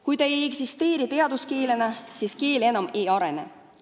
Kui ta ei eksisteeri teaduskeelena, siis keel enam ei arene.